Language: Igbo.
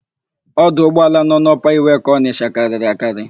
Ọdụ ụgbọala nọ n'Ọpa Iweka Ọnịsha karịrị akarị.